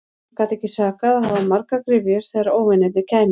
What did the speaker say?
Það gat ekki sakað að hafa margar gryfjur þegar óvinirnir kæmu.